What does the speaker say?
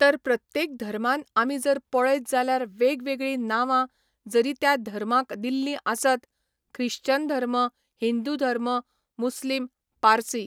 तर प्रत्येक धर्मान आमी जर पळयत जाल्यार वेगवेगळी नांवां जरी त्या धर्मांक दिल्लीं आसत ख्रिश्चन धर्म, हिंदू धर्म, मुस्लीम, पारसी